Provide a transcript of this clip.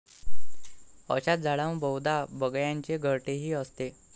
अशाच झाडांवर बहुदा बगळ्यांचे घरटेही असते.